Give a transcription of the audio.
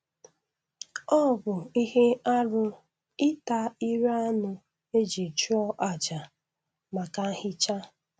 Ọ bụ ihe arụ ịta ire anụ e ji chụọ àjà maka nhicha